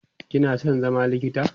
kina San zama likita?